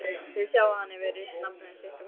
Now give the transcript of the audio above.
Þið sjáið að hann hefur rist nafnið sitt á krossana.